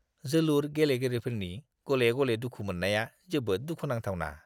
जोलुर गेलेगिरिफोरनि गले-गले दुखु मोननाया जोबोद दुखुनांथावना!